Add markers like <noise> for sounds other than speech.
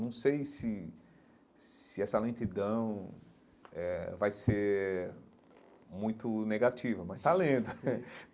Não sei se se essa lentidão eh vai ser muito negativa, mas está lento. <laughs>